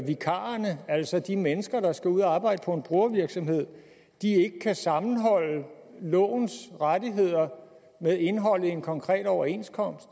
vikarerne altså de mennesker der skal ud at arbejde på en brugervirksomhed ikke kan sammenholde lovens rettigheder med indholdet i en konkret overenskomst